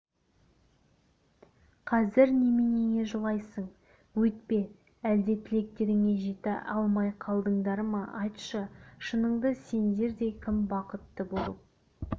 қазір неменеге жылайсың өйтпе әлде тілектеріңе жете алмай қалдыңдар ма айтшы шыныңды сендердей кім бақытты болып